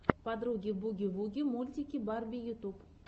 подруги буги вуги мультики барби ютуб